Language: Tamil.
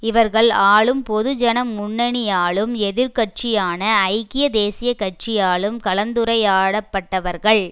இவர்கள் ஆளும் பொதுஜன முன்னணியாலும் எதிர் கட்சியான ஐக்கிய தேசிய கட்சியாலும் கலந்துரையாடப்பட்டவர்கள்